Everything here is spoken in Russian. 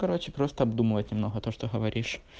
короче просто обдумывать немного то что говоришь